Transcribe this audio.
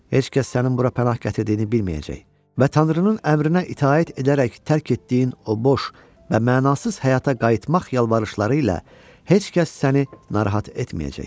Heç kəs sənin bura pənah gətirdiyini bilməyəcək və Tanrının əmrinə itaət edərək tərk etdiyin o boş və mənasız həyata qayıtmaq yalvarışları ilə heç kəs səni narahat etməyəcək.